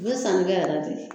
U bɛ sanni kɛ yɛrɛ de